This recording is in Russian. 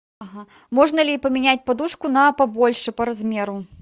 ага можно ли поменять подушку на побольше по размеру